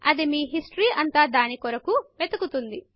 అది మీ హిస్టరీ అంతా దాని కొరకు వెదుకుతుంది